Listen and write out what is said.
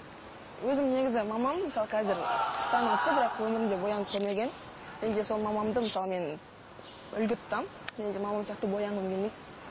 өзім негізі мамам мысалы қазір қырықтан асты бірақ өмірінде боянып көрмеген және де сол мамамды мысалы мен үлгі тұтамын және де мамам сияқты боянғым келмейді